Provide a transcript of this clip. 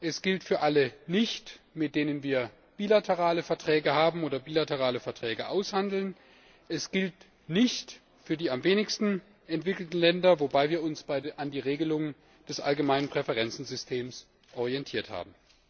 Sie gilt für alle nicht, mit denen wir bilaterale Verträge haben oder bilaterale Verträge aushandeln, sie gilt nicht für die am wenigsten entwickelten Länder, wobei wir uns an den Regelungen des Allgemeinen Präferenzsystems orientiert haben.